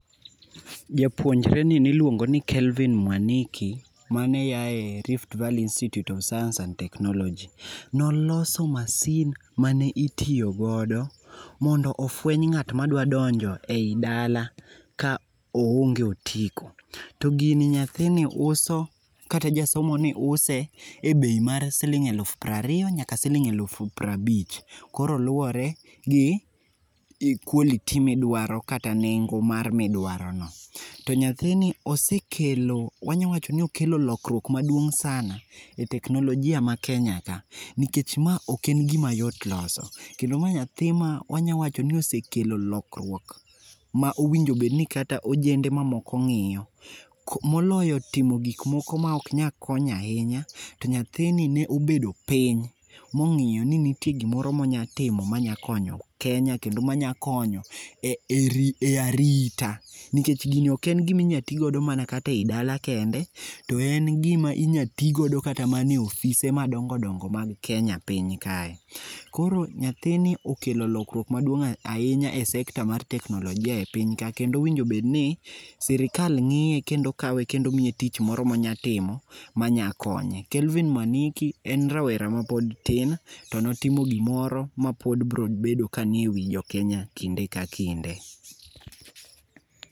Japuonjreni ne iluongo ni Kelvin Mwaniki, mane a e Rift Valley Institute of Science and Technology. Ne oloso masin mane itiyo godo mondo ofueny ng'at madwa donjo ei dala ka oonge otiko. To gini nyathini uso, kata jasomoni use e bei mar siling' alufu piero ariyo nyaka siling' alufu piero abich. Koro luwore gi quality midwaro kata nengo mar midwarono. To nyathini osekelo wanyalo wacho ni osekelo lokruok maduong' sana e teknolojia ma Kenya ka. Nikech ma ok en gima yot loso, kendo ma nyathi ma wanyalo wacho ni osekelo lokruok ma owinjo bed ni kata ojende mamoko ng'iyo. Moloyo timo gik moko maok nyal konyo ahinya. To nyathini ne obedo piny mong'iyo ni nitie gimoro monyalo timo manyalo konyo Kenya, ma nya konyo e arita. Nikech gini ok en gima inya tigodo mana ei dala kende, to en gima inyalo ti godo kata mana e ofise madongo dongo mag Kenya piny kae. Koro nyathini okelo lokruok maduong ahinya e sector mar teknolojia e piny ka kendo owinjo bed ni sirkal ng'iye kendo miye tich moro monyalo timo ma nyalo konye. Kelvin Mwaniki en rawera mapod tin to notimo gimoro mapod biro bedo kani ewi jo Kenya kinde ka kinde.